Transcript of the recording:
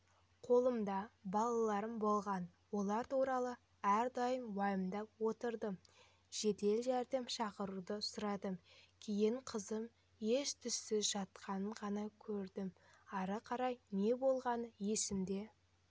қолымда балаларым болған олар туралы әрдайым уайымдап отырдым жедел-жәрдем шақыруды сұрадым кейін қызым ес-түссіз жатқанын ғана көрдім ары-қарай не болғаны есімде